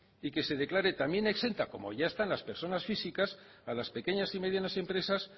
y que se declare también exenta como ya están las personas físicas a las pequeñas y medianas empresas